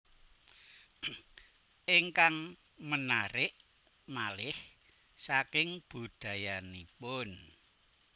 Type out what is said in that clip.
Ingkang menarik malih saking budayanipun